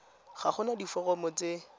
ga go na diforomo tse